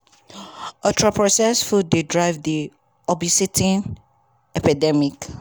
"ultra-processed food dey drive di obesity epidemic.